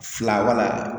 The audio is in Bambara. Fila wala